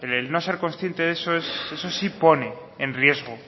el no ser consciente de eso eso sí pone en riesgo